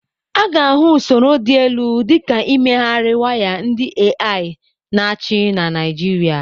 A ga-ahụ usoro dị elu dị ka imegharị waya ndị AI na-achị na Naịjirịa.